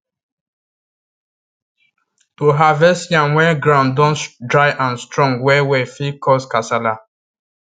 to harvest yam when ground don dry and strong well well fit cause kasala